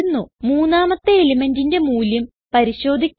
മൂന്നാമത്തെ elementന്റിന്റെ മൂല്യം പരിശോധിക്കാം